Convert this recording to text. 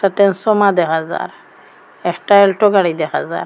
একটা ট্রান্সফরমার দেহা যার একটা অ্যাল্টো গাড়ি দেহা যার।